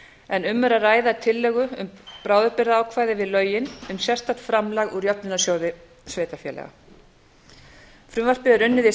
en um er að ræða tillögu um bráðabirgðaákvæði við lögin um sérstakt framlag úr jöfnunarsjóði sveitarfélaga frumvarpið er unnið í